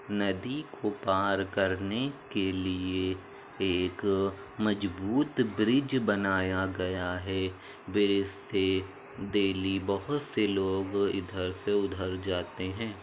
नदी को पार करने के लिए एक मजबूत ब्रिज बनाया गया है। ब्रिज से डेली बहुत से लोग इधर से उधर से जाते है।